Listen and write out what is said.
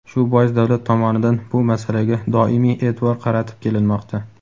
Shu bois davlat tomonidan bu masalaga doimiy e’tibor qaratib kelinmoqda.